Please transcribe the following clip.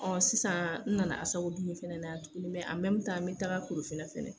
Ɔ sisan n nana ASACODUME fana na, ni bɛ na taga Korofina fana.